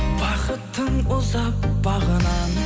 бақыттың ұзап бағынан